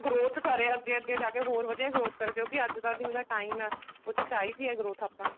growth ਕਰੇ ਅੱਗੇ ਅੱਗੇ ਜਾਕੇ ਹੋਰ ਵਧੀਆ growth ਕਰੇ ਕਿਉਂਕਿ ਅੱਜ ਦਾ ਜਿਵੇਂ ਦਾ time ਆ ਉਹ ਚ ਚਾਹੀਦੀ ਆ growth ਆਪਾਂ ਨੂੰ